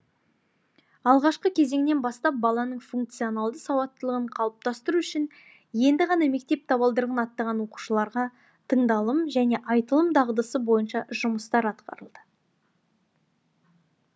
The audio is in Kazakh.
алғашқы кезеңнен бастап баланың функционалды сауаттылығын қалыптастыру үшін енді ғана мектеп табалдырығын аттаған оқушыларға тыңдалым және айтылым дағдысы бойынша жұмыстар атқарылды